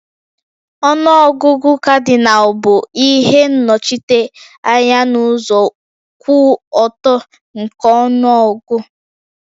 Ọnụ ọgụgụ Kadịnal bụ ihe nnochite anya n'ụzọ kwụ ọtọ nke ọnụọgụ